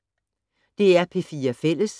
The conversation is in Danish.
DR P4 Fælles